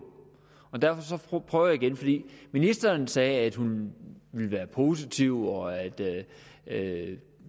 og derfor prøver jeg igen ministeren sagde at hun ville være positiv og at